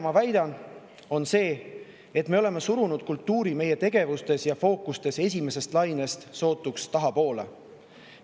Ma väidan seda, et me oleme surunud kultuuri meie tegevustes ja fookustes esimesest lainest sootuks tahapoole.